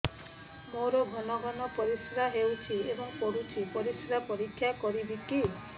ମୋର ଘନ ଘନ ପରିସ୍ରା ହେଉଛି ଏବଂ ପଡ଼ୁଛି ପରିସ୍ରା ପରୀକ୍ଷା କରିବିକି